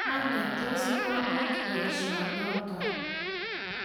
manget tos muamuch boisionoto